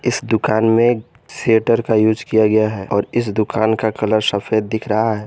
इस दुकान में शेटर का यूज किया गया है और इस दुकान का कलर सफेद दिख रहा है।